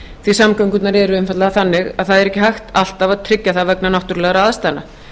því samgöngurnar eru einfaldlega þannig að það er ekki hægt alltaf að tryggja það vegna náttúrulegra aðstæðna